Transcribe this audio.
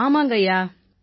ஆமாங்கய்யா